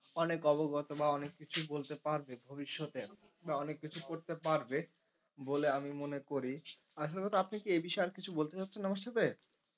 অনেক অবগত বা অনেক কিছুই বলতে পারবে ভবিষৎ এ বা অনেক কিছু করতে পারবে বলে আমি মনে করি। আসল কথা আপনি কি এ বিষয়ে আর কিছু বলতে চাইছেন আমার সাথে?